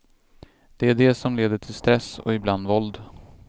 Det är det som leder till stress och ibland våld.